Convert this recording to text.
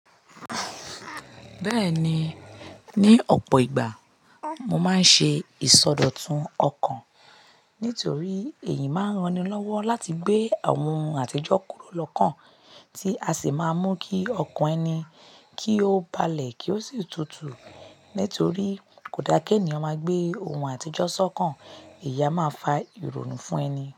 Bẹ́ẹ̀ni, ní ọ̀pọ̀ ìgbà mo máa ń ṣe ìsọdọ̀tun ọkàn nítorí èyí máa ń ranilọ́wọ́ láti gbé àwon ohun àtijọ́ kúrò lọ́kàn, tí a sì máa mú kí ọkàn ẹni kí ó balẹ̀ kí ó sì tutù. Nítorí kò dáa ki ènìyàn máa gbé ohun àtijọ́ sọ́kàn, ẹ̀yi a máa fa ìrònú fún ẹni.